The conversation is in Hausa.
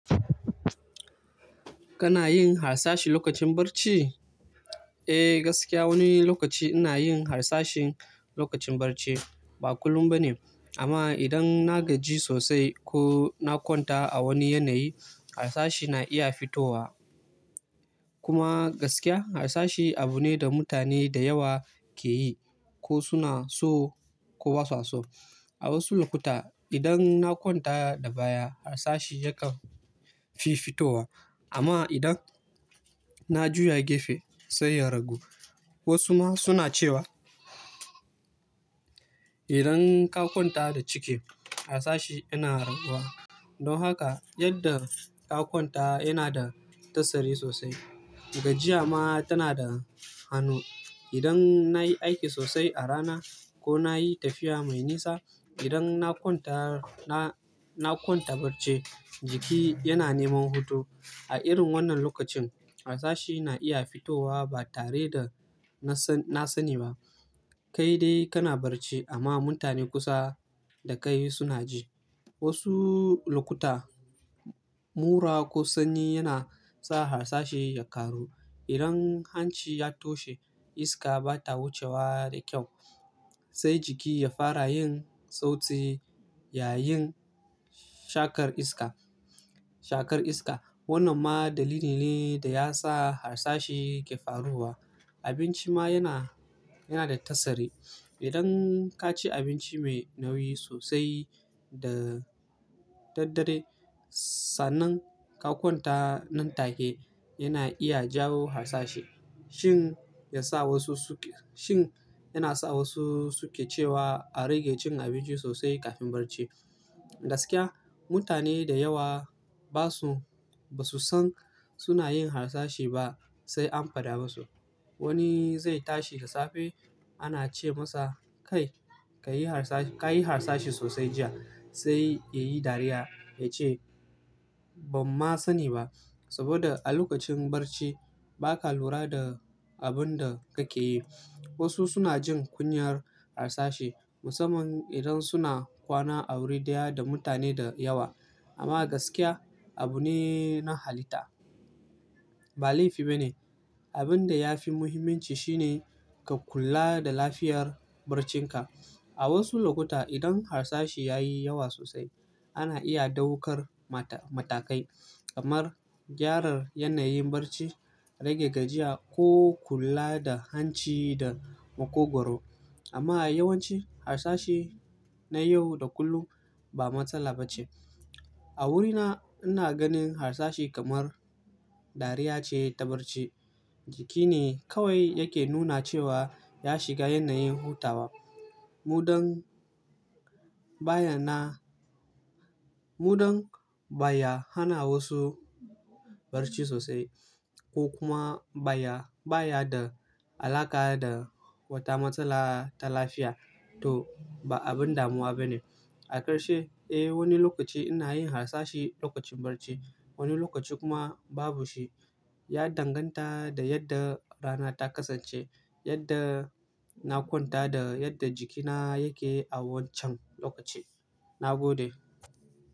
Kana yin harsashi lokacin barci? Eh gaskiya, wani lokaci ina yin harsashi lokacin barci. Ba kullum ba ne, amma idan na gaji sosai ko na kwanta a wani yanayi, harsashi na iya fitowa. Kuma gaskiya harsashi abu ne da mutane da yawa ke yi ko suna so ko ba su so. A wasu lokuta idan na kwanta da baya, harsashi yakan fi fitowa. Amma idan na juya gefe sai ya ragu. Wasu ma suna cewa idan ka kwanta da ciki, harsashi yana raguwa. Don haka yadda ka kwanta yana da tasiri sosai. Gajiya ma tana da hannu. Idan na yi aiki sosai a rana, ko na yi tafiya mai nisa, idan na kwanta, na kwanta barce jiki yana neman hutu. A irin wannan lokacin harsashi na iya fitowa ba tare da na sani ba. Kai dai kana barci amma mutane kusa da kai suna ji. Wasu lokuta, mura ko sanyi yana sa harsashi ya karu. Idan hanci ya toshe, iska ba ta wucewa da kyau. Sai jiki ya fara yin sauti, yayin shakar iska, shakar iska. Wannan ma dalili ne da ya sa harsashi ke faruwa. Abinci ma yana, yana da tasiri. Idan ka ci abinci mai nauyi sosai da daddare, sa'annan ka kwanta nan take yana iya jawo harsashi. Shin ya sa wasu suke, shin yana sa wasu suke cewa, a rage cin abinci sosai kafin barci. Gaskiya mutane da yawa ba su, ba su san suna yin harsashi ba sai an faɗa masu. Wani zai tashi da safe ana ce masa "Kai, ka yi harsa, kayi harsashi sosai jiya." Sai ya yi dariya ya ce "Ban ma sani ba." Saboda a lokacin barci, ba ka lura da abun da kake yi. Wasu suna jin kunyar harsashi, musamman idan suna kwana a wuri daya da mutane da yawa. Amma gaskiya abu ne na halitta. Ba laifi ba ne. Abin da ya fi muhimmanci shine, ka kula da lafiyar barcinka. A wasu lokuta idan harsashi ya yi yawa sosai, ana iya ɗaukar matakai kamar gyara yanayin barci, rage gajiya ko kula da hanci da makogwaro. Amma a yawanci harsashi na yau da kullum ba matsala ba ce. A wurina ina ganin harsashi kamar dariya ce ta barci. Jiki ne kawai yake nuna cewa ya shiga yanayin hutawa. Muɗam baya na, muɗam baya hana wasu barci sosai ko kuma baya, baya da alaƙa da wata matsala ta lafiya to ba abin damuwa ba ne. A ƙarshe, eh wani lokaci ina yin harsashi lokacin barci. Wani lokaci kuma babu shi. Ya danganta da yadda rana ta kasance, yadda na kwanta, da yadda jikina yake a wancan lokaci. Na gode.